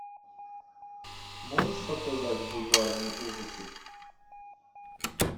можешь показать бульварные ужасы